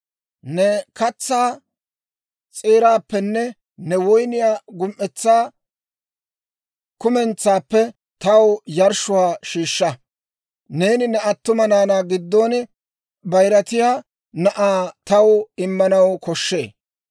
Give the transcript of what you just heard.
Ne katsaa s'eeraappenne ne woyniyaa gum"etsaa kumentsaappe taw yarshshuwaa shiishsha. «Neeni ne attuma naanaa giddon bayiratiyaa na'aa taw immanaw koshshee.